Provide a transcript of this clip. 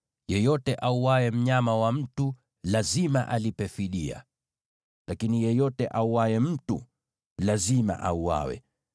Yeyote auaye mnyama wa mtu lazima alipe fidia, lakini yeyote auaye mtu, lazima auawe.